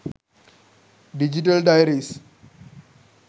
digital diaries